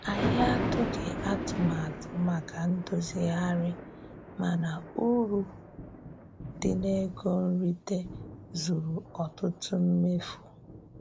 Anyị atụghị atụmatụ maka ndozigharị, mana uru dị n'ego nrite zuru ọtụtụ mmefu.